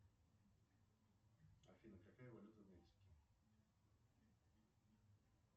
афина какая валюта в мексике